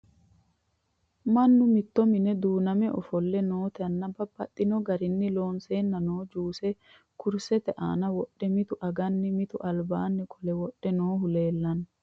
Mannu mitto minne duunnamme ofolle nooti nna babaxxinno garinni loonseenna noo juusse kurisette aanna wodhe, mittu aganna mitu alibbanni qole wodhe noohu leelanno